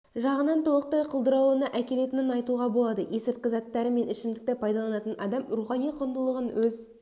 жағынан толықтай құлдырауына әкелетінін айтуға болады есірткі заттары мен ішімдікті пайдаланатын адам рухани құндылығын өз